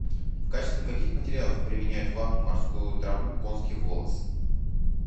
в качестве каких материалов применяют вату морскую траву конский волос